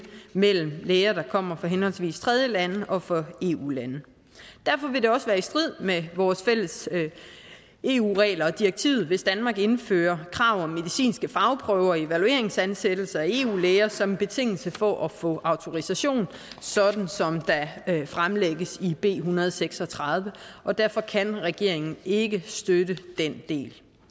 mellem læger der kommer fra henholdsvis tredjelande og fra eu lande derfor vil det også være i strid med vores fælles eu regler og direktivet hvis danmark indfører krav om medicinske fagprøver og evalueringsansættelser af eu læger som en betingelse for at få autorisation sådan som der fremlægges i b en hundrede og seks og tredive og derfor kan regeringen ikke støtte den del